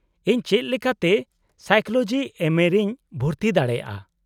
-ᱤᱧ ᱪᱮᱫ ᱞᱮᱠᱟᱛᱮ ᱥᱟᱭᱠᱳᱞᱳᱡᱤ ᱮᱢᱹᱮ ᱨᱮᱧ ᱵᱷᱩᱨᱛᱤ ᱫᱟᱲᱮᱭᱟᱜᱼᱟ ?